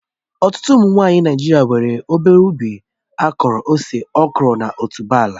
Ọtụtụ ụmụ nwanyị Naijiria nwere obere ubi akụrụ ose, okro na otuboala